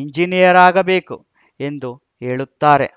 engineer ಆಗಬೇಕು ಎಂದು ಹೇಳುತ್ತಾರೆ